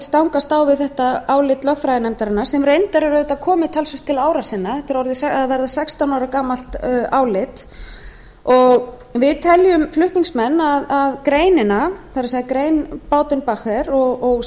stangast á við þetta álit lögfræðinefndarinnar sem reyndar er auðvitað komið talsvert til ára sinna þetta er að verða sextán ára gamalt álit við teljum flutningsmenn að grein baudenbacher og